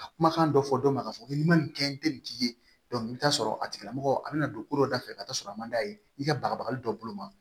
Ka kumakan dɔ fɔ dɔ ma k'a fɔ ko n bɛ nin kɛ n tɛ nin tigi ye i bɛ taa sɔrɔ a tigilamɔgɔ a bɛna don ko dɔ dafɛ ka t'a sɔrɔ a man d'a ye i ka bagabagali dɔ boloma